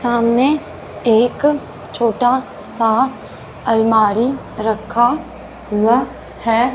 सामने एक छोटा सा अलमारी रखा हुआ है।